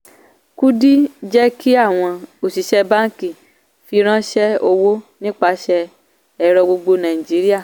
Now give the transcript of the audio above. kudi jẹ́ kí àwọn òṣìṣẹ́ báńkì fìránṣẹ́ owó nípasẹ̀ ẹ̀rọ gbogbo nàìjíríà.